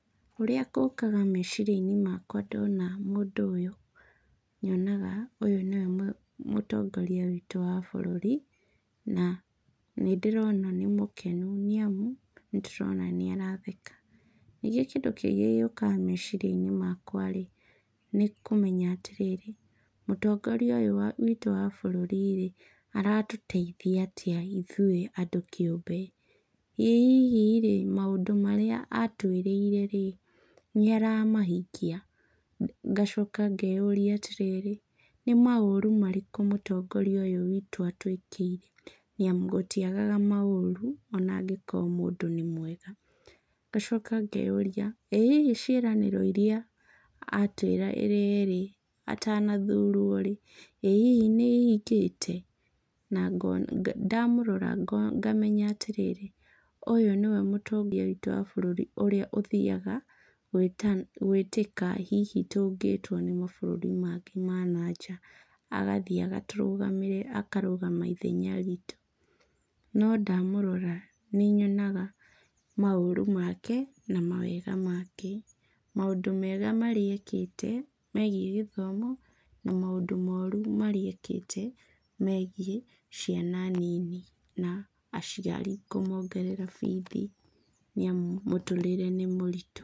Ũrĩa gũkaga meciria-inĩ makwa ndona mũndũ ũyũ, nyonaga ũyũ nĩwe mũtongoria witũ wa bũrũri, na nĩ ndĩrona nĩ mũkenu nĩamu nĩtũrona nĩaratheka. Ningĩ kĩndũ kĩngĩ gĩũkaga meciria-inĩ makwa-rĩ, nĩ kũmenya atĩrĩrĩ, mũtongoria ũyũ witũ wa bũrũri-rĩ, aratũteithia atĩa ithuĩ andũ kĩũmbe. Ĩ hihi-rĩ, maũndũ marĩa atwĩrĩire-rĩ, nĩaramahingia? Ngacoka ngeyũria atĩrĩrĩ, nĩ maũru marĩkũ mũtongoria ũyũ witũ atũĩkĩire, nĩamu gũtiagaga maũru ona angĩkorwo mũndũ nĩ mwega. Ngacoka ngeyũria, ĩ hihi ciĩranĩro iria atwĩrĩire-rĩ, atanathurwo-rĩ, ĩ hihi nĩihingĩte. Na ngona ndamũrora ngamenya atĩrĩrĩ, ũyũ nĩwe mũtongoria witũ wa bũrũri ũrĩa ũthiaga gwĩtĩka hihi tũngĩtwo nĩ mabaũrũri mangĩ ma na nja. Agathiĩ akarũgama ithenya ritũ. No ndamũrora, nĩnyonaga maũru make na mawega make. Maũndũ mega marĩa ekĩte megiĩ gĩthomo na maũndũ moru marĩa ekĩte megiĩ ciana nini, na aciari kũmongerera bithi nĩamu mũtũrĩre nĩ mũritũ.